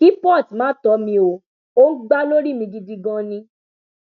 kí port má tọ mi o ò ń gbà lórí mi gidi ganan ni